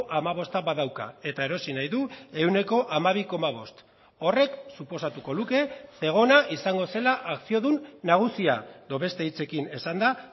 hamabosta badauka eta erosi nahi du ehuneko hamabi koma bost horrek suposatuko luke zegona izango zela akziodun nagusia edo beste hitzekin esanda